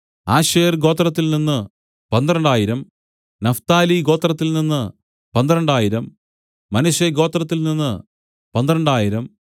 Asher ഗോത്രത്തിൽനിന്നു പന്ത്രണ്ടായിരം Naphtali ഗോത്രത്തിൽനിന്നു പന്ത്രണ്ടായിരം മനശ്ശെഗോത്രത്തിൽ നിന്നു പന്ത്രണ്ടായിരം